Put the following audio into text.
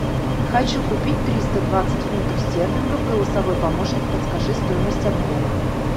хочу купить триста двадцать фунтов стерлингов голосовой помощник подскажи стоимость обмена